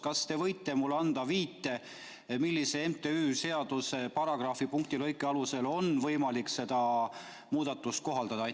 Kas te võite mulle anda viite, millise mittetulundusühingu seaduse paragrahvi, lõike ja punkti alusel on võimalik seda muudatust teha?